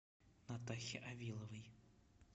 натахе авиловой